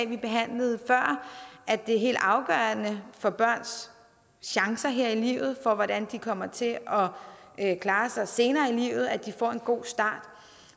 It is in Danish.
vi behandlede før at det er helt afgørende for børns chancer her i livet for hvordan de kommer til at klare sig senere i livet at de får en god start